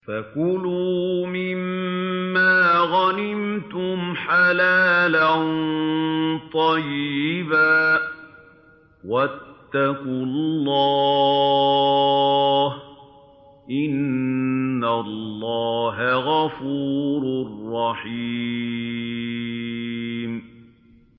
فَكُلُوا مِمَّا غَنِمْتُمْ حَلَالًا طَيِّبًا ۚ وَاتَّقُوا اللَّهَ ۚ إِنَّ اللَّهَ غَفُورٌ رَّحِيمٌ